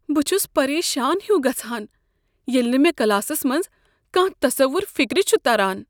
بہٕ چھس پریشان ہیُو گژھان ییٚلہ نہٕ مےٚ کلاسس منٛز کانٛہہ تصور فکر چھ تران۔